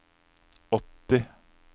åtti